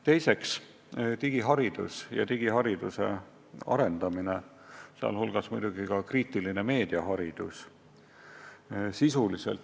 Teiseks, digiharidus ja digihariduse arendamine, sh muidugi meedia kriitilise hindamise õpetus.